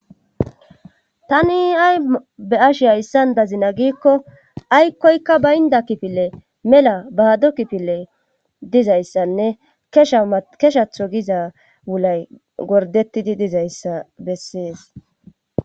Tani ay beashi hayssan dazina giikko aykkoykka baynda kifile mela bahado kifile dizayssanne shkeshatho giza wulay gordettidi dizayssa bessees.